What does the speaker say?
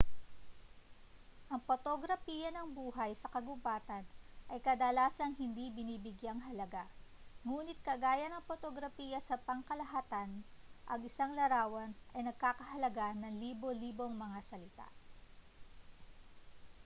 ang potograpiya ng buhay sa kagubatan ay kadalasang hindi binibigyang-halaga nguni't kagaya ng potograpiya sa pangkalahatan ang isang larawan ay nagkakahalaga ng libo-libong mga salita